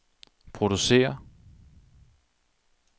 producere